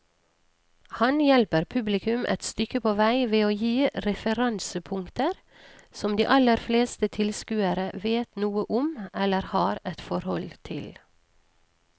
Han hjelper publikum et stykke på vei ved å gi referansepunkter som de aller fleste tilskuere vet noe om eller har et forhold til.